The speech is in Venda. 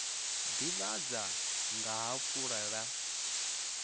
ḓivhadza nga ha fulo ḽa